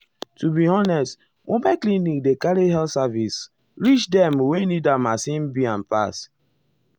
to be honest mobile clinic dey carry health service reach dem wey um needas e be am pass.